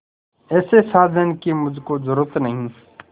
ऐसे साजन की मुझको जरूरत नहीं